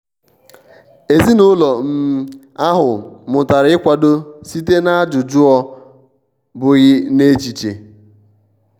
um ezinụlọ um ahụ mụtara ịkwado site n'ajụjụọ bụghị n'echiche.